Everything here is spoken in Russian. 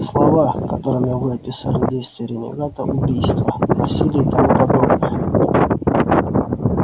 слова которыми вы описали действия ренегата убийства насилие и тому подобное